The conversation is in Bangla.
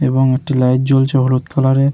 এবং একটি লাইট জ্বলছে হলুদ কালার এর।